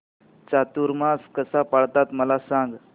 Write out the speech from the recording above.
चातुर्मास कसा पाळतात मला सांग